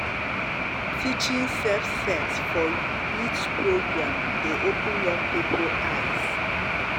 teaching safe sex for youth program dey open um young um people um eyes.